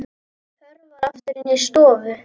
Hörfar aftur inn í stofu.